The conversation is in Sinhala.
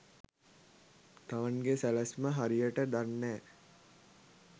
තමන්ගෙ සැලැස්ම හරියට දන්නෑ.